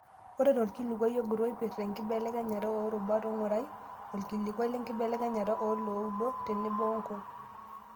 Ore tolkilikuai ogut oipirta enkibelekenyata oorubat ngurai olkilikuai lenkibelekenyata oo looudo tenebo nkung'.